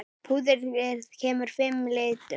Púðrið kemur í fimm litum.